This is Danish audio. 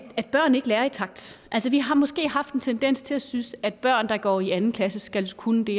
børn ikke lærer i takt altså vi har måske haft en tendens til at synes at børn der går i anden klasse skal kunne det